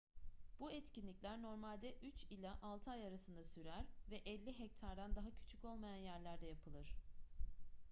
bu etkinlikler normalde üç ila altı ay arasında sürer ve 50 hektardan daha küçük olmayan yerlerde yapılır